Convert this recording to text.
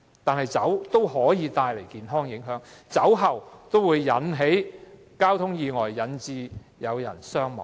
然而，酒同樣會帶來健康影響，酒後駕駛會引致交通意外，造成人命傷亡。